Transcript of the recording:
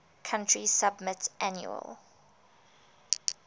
country submit annual